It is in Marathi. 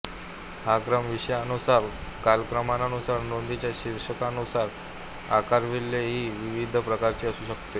हा क्रम विषयानुसार कालक्रमानुसार नोंदींच्या शीर्षकांनुसार अकारविल्हे इ विविध प्रकारचा असू शकतो